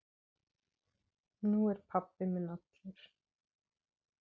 Nú er pabbi minn allur.